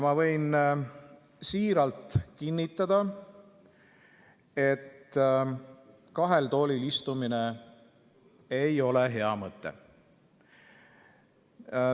Ma võin siiralt kinnitada, et kahel toolil istumine ei ole hea mõte.